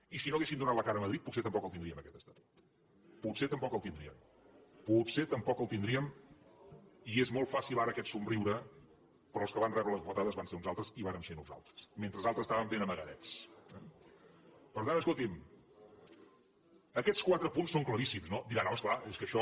i si no haguéssim donat la cara a madrid potser tampoc el tindríem aquest estatut potser tampoc el tindríem potser tampoc el tindríem i és molt fàcil ara aquest somriure però els que van rebre les bufetades van ser uns altres i vàrem ser nosaltres mentre altres estaven ben amagadets eh per tant escolti’m aquests quatre punts són claríssims no diran home és clar és que això